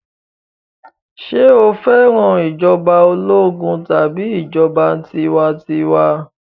Ṣé o fẹ́ràn ìjọba ológun tàbí ìjọba tiwantiwa?